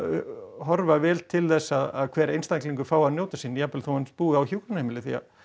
horfa vel til þess að hver einstaklingur fái að njóta sín jafnvel þó hann búi á hjúkrunarheimili